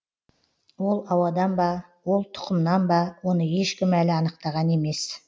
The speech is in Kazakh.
ол ауадан ба ол тұқымнан ба оны ешкім әлі анықтаған емес